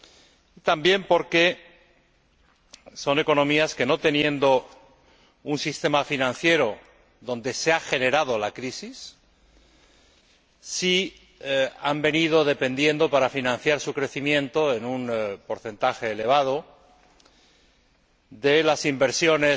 y también porque son economías que, no teniendo un sistema financiero donde se ha generado la crisis, sí han venido dependiendo, para financiar su crecimiento, en un porcentaje elevado, de las inversiones